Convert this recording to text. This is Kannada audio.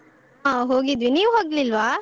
ಆ ಹೋಗಿದ್ವಿ, ನೀವ್ ಹೋಗ್ಲಿಲ್ವಾ?